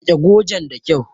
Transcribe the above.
Rike gojen da kyau!